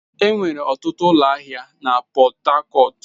Enwere ọtụtụ ụlọ ahịa na Port Harcourt.